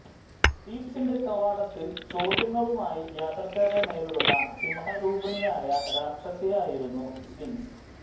ഥീബ്സിന്റെ കവാടത്തിൽ ചോദ്യങ്ങളുമായി യാത്രക്കാരെ നേരിടുന്ന സിംഹരൂപിണിയായ രാക്ഷസിയായിരുന്നു സ്ഫിങ്സ്